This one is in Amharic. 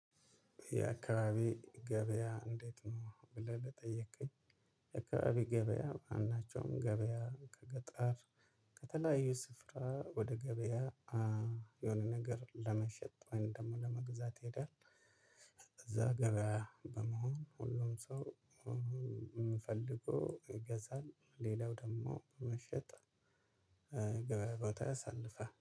የአካባቢ ገበያ እንዴት ነው? ብለህ ለጠየከኝ የአካባቢ ገበያ ማናቸውም ገበያ ከገጠር ከተለያዩ ስፍራ ወደ ገበያ የሆነ ነገር ለመሸጥ ወይም ደግሞ ለመግዛት ይሄዳል። እዛ ገበያ በመሆን ሁሉም ሰው የሚፈልገውን ይገዛል ሌላው ደግሞ መሸጥ። ገበያ ቦታ ያሳልፋል